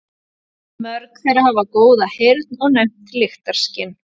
Mörg þeirra hafa góða heyrn og næmt lyktarskyn.